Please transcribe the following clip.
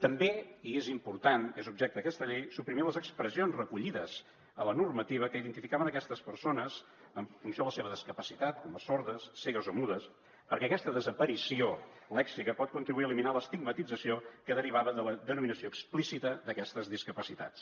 també i és important és objecte d’aquesta llei suprimir les expressions recollides a la normativa que identificaven aquestes persones en funció de la seva discapacitat com a sordes cegues o mudes perquè aquesta desaparició lèxica pot contribuir a eliminar l’estigmatització que derivava de la denominació explícita d’aquestes discapacitats